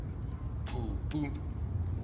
phupu